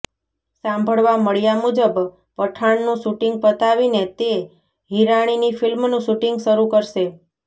સાંભળવા મળ્યા મુજબ પઠાણનું શૂટિંગ પતાવીને તે હિરાણીની ફિલ્મનું શૂટિંગ શરૂ કરશે